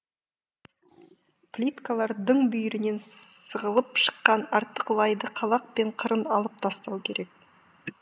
плиткалар дың бүйірінен сығылып шыққан артық лайды қалақпен қырын алып тастау керек